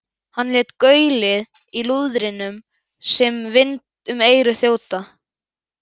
Hann lét gaulið í lúðrinum sem vind um eyru þjóta.